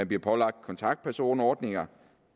bliver pålagt kontaktpersonordninger